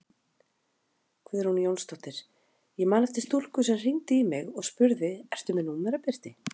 Guðrún Jónsdóttir: Ég man eftir stúlku sem hringdi í mig og spurði ertu með númerabirti?